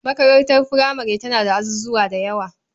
Makarantar furamare tana da azuzawa da yawa.